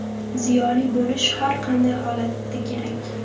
Ziyoli bo‘lish har qanday holatda kerak.